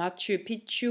machu picchu